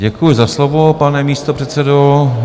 Děkuji za slovo, pane místopředsedo.